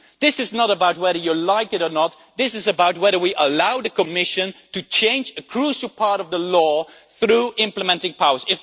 This is not about whether you like it or not this is about whether we allow the Commission to change a crucial part of the law through implementing powers.